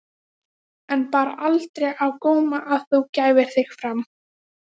En bar aldrei á góma að þú gæfir þig fram?